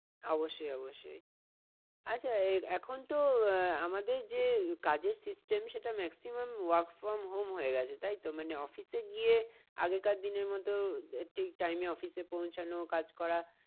অবশ্যই অবশ্যই আচ্ছা আহ এখন তো আহ আমাদের যে কাজের system সেটা maximum work from home হয়ে গেছে তাই তো? মানে office এ গিয়ে আগে কার দিনের মতো ঠিক time এ office এ পৌঁছানো কাজ করা